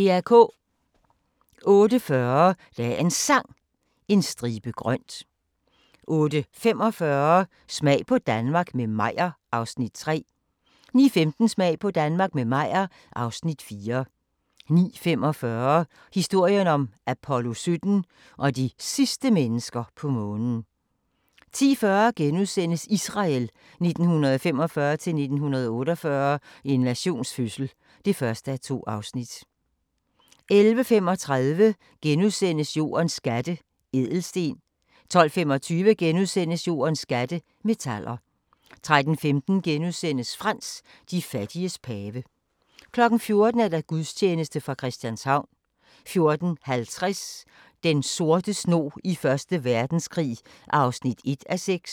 08:40: Dagens Sang: En stribe grønt 08:45: Smag på Danmark – med Meyer (Afs. 3) 09:15: Smag på Danmark – med Meyer (Afs. 4) 09:45: Historien om Apollo 17 og de sidste mennesker på Månen 10:40: Israel 1945-1948 – en nations fødsel (1:2)* 11:35: Jordens skatte – ædelsten * 12:25: Jordens skatte – metaller * 13:15: Frans: De fattiges pave * 14:00: Gudstjeneste fra Christianshavn 14:50: Den sorte snog i Første Verdenskrig (1:6)